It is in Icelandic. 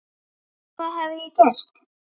Hvað hafði ég gert?